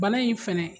Bana in fɛnɛ